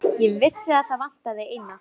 Ég vissi að það vantaði eina.